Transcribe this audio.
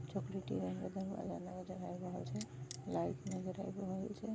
Light नजर आ रहल छे।